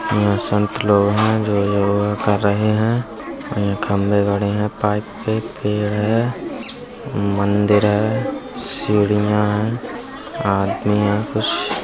यहाँ संत लोग है जो योगा कर रहे है। खंबे गड़े हैं। पाइप पे पेड़ है । मन्दिर है। सीढ़ियाँ है। आदमी हैं कुछ --